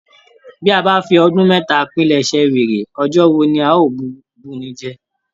Bi a bá fi ọdún mẹta pìlẹ̀sẹ̀ wèrè, ọjọ́ wò la o bunijẹ.